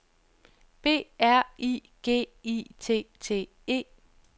B R I G I T T E